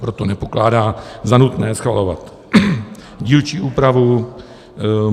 Proto nepokládá za nutné schvalovat dílčí úpravu.